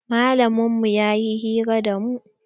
Malamin mu ya yi hira da mu.